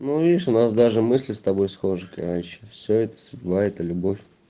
ну видишь у нас даже мысли с тобой схожи короче все это судьба это любовь